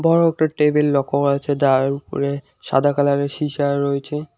বড় একটা টেবিল লক্ষ্য করা যাচ্ছে যার ওপরে সাদা কালারের সীসা রয়েছে।